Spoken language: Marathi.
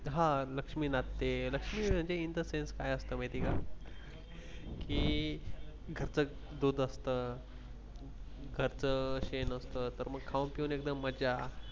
हा लक्ष्मी नांदते लक्ष्मी म्हणजे In the sense काय असंत माहिती का, की कस दूध असतं, घरच शेण असतं तर मग खाऊन पिऊन एकदम मज्जा